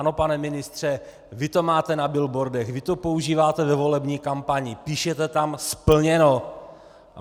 Ano, pane ministře, vy to máte na billboardech, vy to používáte ve volební kampani, píšete tam: Splněno!